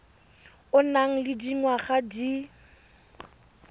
o nang le dingwaga di